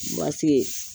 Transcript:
Basike